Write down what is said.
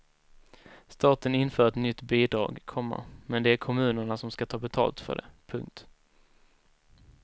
Staten inför ett nytt bidrag, komma men det är kommunerna som ska ta betalt för det. punkt